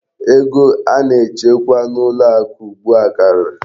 Ego a na-echekwa n'ụlọ akụ ugbu a karịrị.